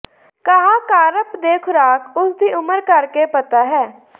ਘਾਹ ਕਾਰਪ ਦੇ ਖੁਰਾਕ ਉਸ ਦੀ ਉਮਰ ਕਰਕੇ ਪਤਾ ਹੈ